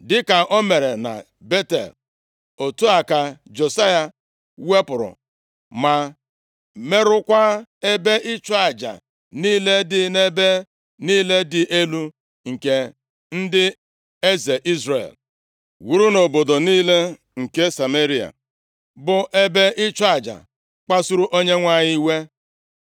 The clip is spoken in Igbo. Dịka o mere na Betel, otu a ka Josaya wepụrụ ma merụkwaa ebe ịchụ aja niile dị nʼebe niile dị elu nke ndị eze Izrel wuru nʼobodo niile nke Sameria, bụ ebe ịchụ aja kpasuru Onyenwe anyị iwe.